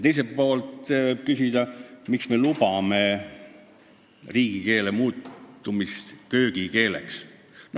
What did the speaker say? Teiselt poolt tahan küsida, miks me lubame riigikeelel muutuda köögikeeleks.